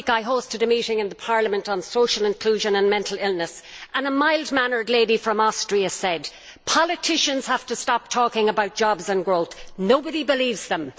Last week, I hosted a meeting in Parliament on social inclusion and mental illness and a mild mannered lady from Austria said that politicians have to stop talking about jobs and growth nobody believes them!